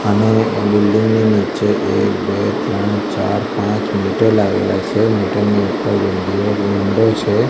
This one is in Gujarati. અને એ બિલ્ડિંગ ની નીચે એક બે ત્રણ ચાર પાંચ મીટર લાગેલા છે મીટર ની ઉપર છે.